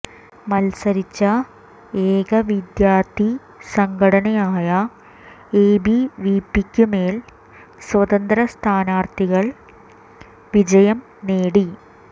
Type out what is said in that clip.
മത്സരിച്ച ഏക വിദ്യാർഥിസംഘടനയായ എബിവിപിക്കു മേൽ സ്വതന്ത്ര സ്ഥാനാർഥികൾ വിജയം നേടി